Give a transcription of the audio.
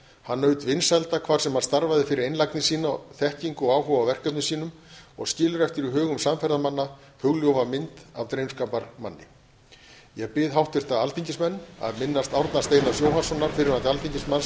hann naut vinsælda hvar sem hann starfaði fyrir einlægni sína þekkingu og áhuga á verkefnum sínum og skilur eftir í hugum samferðamanna hugljúfa mynd af drengskaparmanni ég bið háttvirta alþingismenn að minnast árna steinars jóhannssonar fyrrverandi alþingismanns